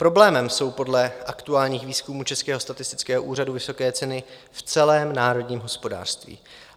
Problémem jsou podle aktuálních výzkumů Českého statistického úřadu vysoké ceny v celém národním hospodářství.